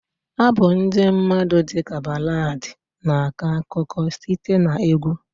Abụ ndị mmadụ dị ka Baladi na-akọ akụkọ site na egwu.